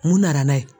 Mun nana n'a ye